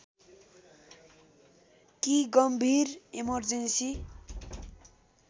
कि गम्भीर इमर्जेन्‍सी